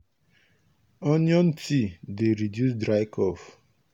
onion tea dey reduce dry cough.